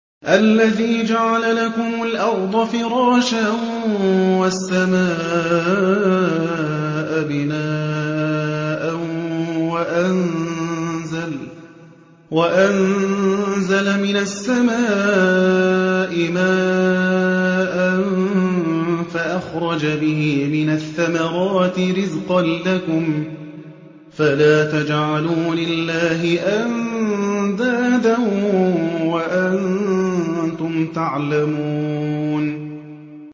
الَّذِي جَعَلَ لَكُمُ الْأَرْضَ فِرَاشًا وَالسَّمَاءَ بِنَاءً وَأَنزَلَ مِنَ السَّمَاءِ مَاءً فَأَخْرَجَ بِهِ مِنَ الثَّمَرَاتِ رِزْقًا لَّكُمْ ۖ فَلَا تَجْعَلُوا لِلَّهِ أَندَادًا وَأَنتُمْ تَعْلَمُونَ